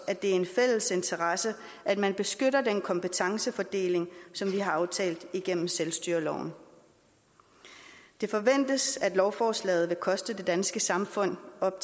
er en fælles interesse at man beskytter den kompetencefordeling som vi har aftalt igennem selvstyreloven det forventes at lovforslaget vil koste det danske samfund op